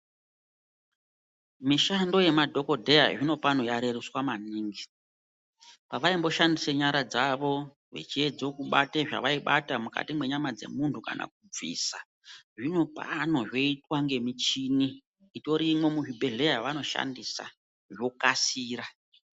Mushando yemadhokotera zvino pano yarerutswa maningi pavaimboshandisa nyara dzavo vachiedza kubata zvavaibata mukati menyama dzemunhu kana kubvisa zvinopano zvoitwa ngemuchini itorimo muzvibhehlera yanoshandisa zvokasira.